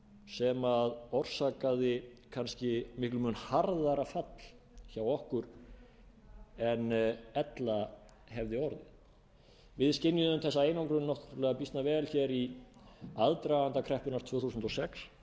sem orsakaði kannski miklum mun harðara fall hjá okkur en ella hefði orðið við skynjuðum þessa einangrun býsna vel í aðdraganda kreppunnar tvö þúsund og sex